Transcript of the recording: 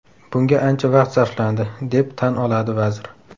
Bunga ancha vaqt sarflandi, - deb tan oladi vazir.